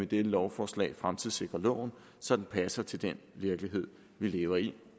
dette lovforslag fremtidssikrer loven så den passer til den virkelighed vi lever i